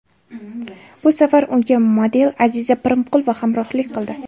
Bu safar unga model Aziza Primqulova hamrohlik qildi.